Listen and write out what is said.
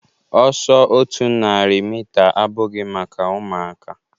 Ọsọ otu narị mita abụghị maka ụmụaka